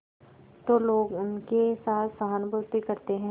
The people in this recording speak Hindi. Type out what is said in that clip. तो लोग उनके साथ सहानुभूति करते हैं